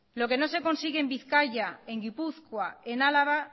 lo que no se consigue en bizkaia en gipuzkoa y en álava